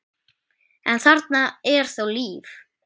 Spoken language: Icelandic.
en þarna er þó líf.